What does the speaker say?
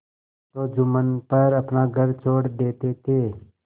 तो जुम्मन पर अपना घर छोड़ देते थे